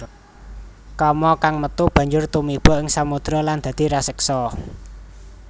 Kama kang metu banjur tumiba ing samodra lan dadi raseksa